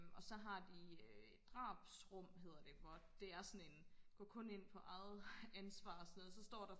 og så har de et drabsrum hedder det hvor det er sådan en gå kun ind på eget ansvar og sådan noget og så står der